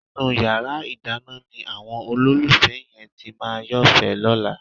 Inú yàrá ìdáná ni àwọn olólùfẹ́ yẹn ti máa yófẹ̀ẹ́ lọ́la.